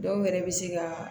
Dɔw yɛrɛ bɛ se ka